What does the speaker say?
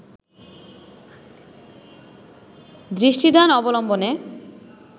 দৃষ্টিদান অবলম্বনে